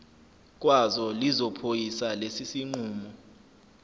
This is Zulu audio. kwazo lizophoyisa lesisinqumo